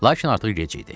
Lakin artıq gec idi.